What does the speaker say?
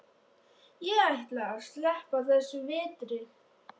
Ég ætla að sleppa þessum vetri.